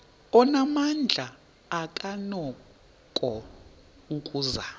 onamandla akanako ukuzama